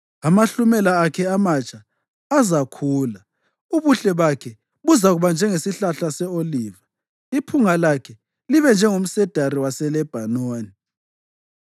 amahlumela akhe amatsha azakhula. Ubuhle bakhe buzakuba njengesihlahla se-oliva, iphunga lakhe libe njengomsedari waseLebhanoni.